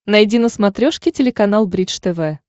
найди на смотрешке телеканал бридж тв